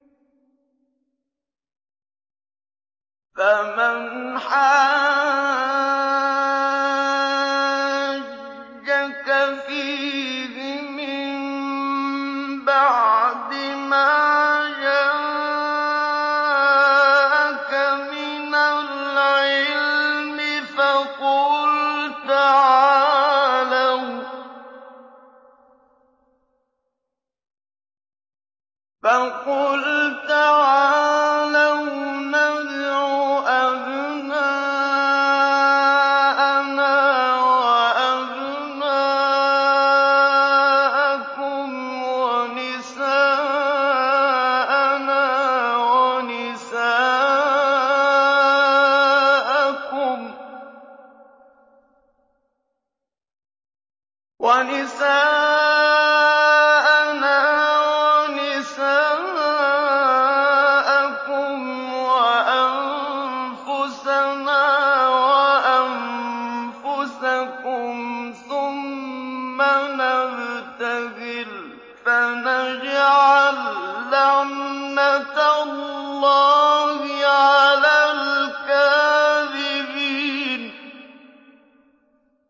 فَمَنْ حَاجَّكَ فِيهِ مِن بَعْدِ مَا جَاءَكَ مِنَ الْعِلْمِ فَقُلْ تَعَالَوْا نَدْعُ أَبْنَاءَنَا وَأَبْنَاءَكُمْ وَنِسَاءَنَا وَنِسَاءَكُمْ وَأَنفُسَنَا وَأَنفُسَكُمْ ثُمَّ نَبْتَهِلْ فَنَجْعَل لَّعْنَتَ اللَّهِ عَلَى الْكَاذِبِينَ